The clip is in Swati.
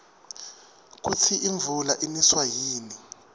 kusi imvula iniswa yini